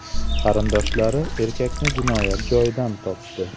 Qarindoshlari erkakni jinoyat joyidan topdi.